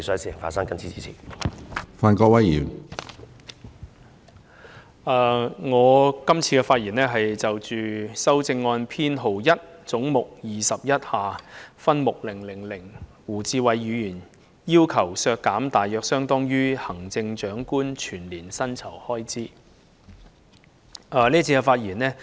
我今次是就胡志偉議員提出的第1號修正案發言，即為削減分目000而將總目21削減一筆大約相當於行政長官全年薪酬開支的款額。